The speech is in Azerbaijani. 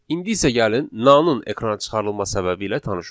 İndi isə gəlin NaN-ın ekrana çıxarılma səbəbi ilə tanış olaq.